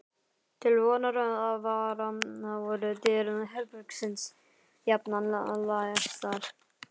Til vonar og vara voru dyr herbergisins jafnan læstar.